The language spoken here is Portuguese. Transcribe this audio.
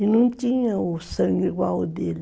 E não tinha o sangue igual o dele.